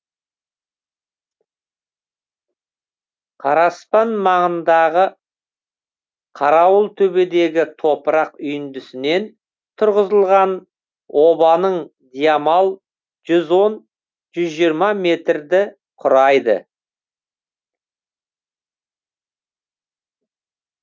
қараспан маңындағы қарауылтөбедегі топырақ үйіндісінен тұрғызылған обаның диамал жүз он жүз жиырма метрді құрайды